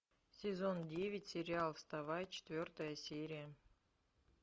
сезон девять сериал вставай четвертая серия